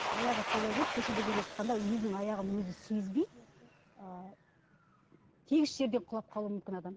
аяғы солай болып көшеде келе жатқанда өзінің аяғын өзі сезбей ы тегіс жерде құлап қалуы мүмкін адам